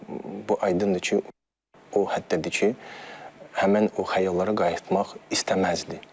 Bu aydındır ki, o həddədir ki, həmin o xəyallara qayıtmaq istəməzdi.